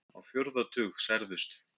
Á fjórða tug særðust